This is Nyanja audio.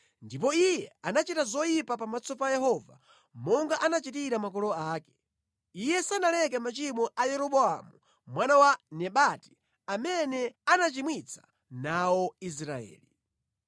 Ndipo iye anachita zoyipa pamaso pa Yehova monga anachitira makolo ake. Iye sanaleke machimo a Yeroboamu mwana wa Nebati, amene anachimwitsa nawo Israeli.